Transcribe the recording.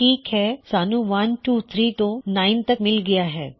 ਠੀਕ ਹੈ ਸਾਨੂੰ 123 ਤੋਂ 9 ਤੱਕ ਮਿਲ ਗਇਆ ਹੈ